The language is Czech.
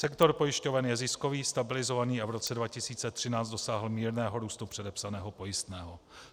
Sektor pojišťoven je ziskový, stabilizovaný, a v roce 2013 dosáhl mírného růstu předepsaného pojistného.